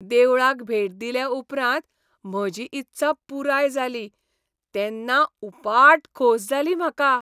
देवळाक भेट दिले उपरांत म्हजी इत्सा पुराय जाली तेन्ना उपाट खोस जाली म्हाका.